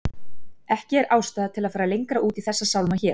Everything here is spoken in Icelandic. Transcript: Ekki er ástæða til að fara lengra út í þessa sálma hér.